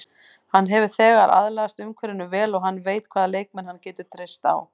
Hann hefur þegar aðlagast umhverfinu vel og hann veit hvaða leikmenn hann getur treyst á.